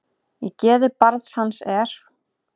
Í geði barn hans er.